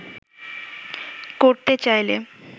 করতে চাইলে